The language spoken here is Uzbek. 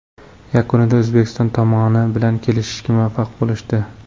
Yakunda O‘zbekiston tomoni bilan kelishishga muvaffaq bo‘lishdi.